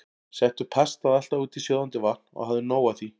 Settu pastað alltaf út í sjóðandi vatn og hafðu nóg af því.